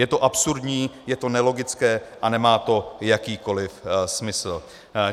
Je to absurdní, je to nelogické a nemá to jakýkoliv smysl.